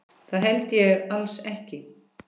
Það held ég alls ekki.